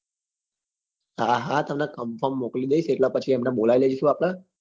હા હા તમને confirm મોકલી દઈસ એટલે પછી એમને બોલાઈ દઈશું આપડે